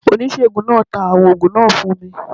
Onisegun naa ta awọn oògùn naa fun mi.